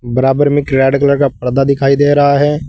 बराबर में एक रेड कलर का पर्दा दिखाई दे रहा है।